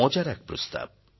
মজার এক প্রস্তাব